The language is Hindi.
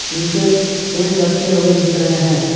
नीचे पेन लटके हुए दिख रहे हैं।